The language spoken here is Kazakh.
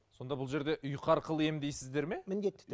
сонда бұл жерде ұйқы арқылы емдейсіздер ме міндетті